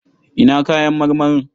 Ina kayan marmarin?